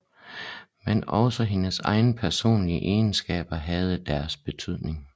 Men også hendes egne personlige egenskaber havde deres betydning